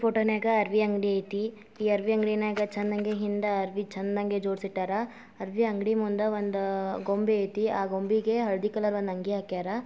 ಫೋಟೋನ್ಯಾಗ ಅರ್ವಿ ಅಂಗ್ಡಿ ಆಯ್ತಿ ಈ ಅರ್ವಿ ಅಂಗ್ಡಿನ್ಯಾಗ ಚೆನ್ನಾಗಿ ಹಿಂದ ಅರ್ವಿ ಚೆನ್ನಾಗ ಜೋಡ್ಸಿ ಇಟ್ಯಾರ ಅರ್ವಿ ಅಂಗ್ಡಿ ಮುಂದೆ ಒಂದ್ ಗೊಂಬೆ ಆಯ್ತಿ ಆ ಗೊಂಬೆಗೆ ಹಳ್ದಿ ಕಲರ್ ಒಂದ್ ಅಂಗಿ ಹಾಕ್ಯಾರ .